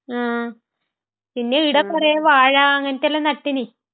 മ്....പിന്നെ ഇവിടെ കുറേ വാഴ...അങ്ങനത്തെയെല്ലാം നട്ടിന്